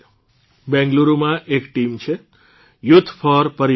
બેંગલુરૂમાં એક ટીમ છે યુથ ફોર પરિવર્તન